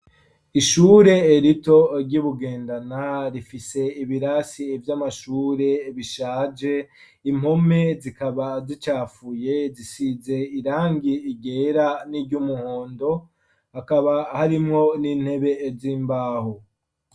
Ishure rito ryi Bugendana rifise ibirasi vy'amashure bishaje, impome zikaba zicafuye zisize irangi ryera n'iryumuhondo, hakaba harimwo n'intebe z'imbaho.